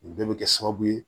U bɛɛ bɛ kɛ sababu ye